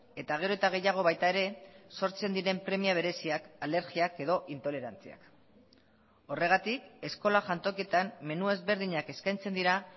eta gero eta gehiago baita ere sortzen diren premia bereziak alergiak edo intolerantziak horregatik eskola jantokietan menu ezberdinak eskaintzen dira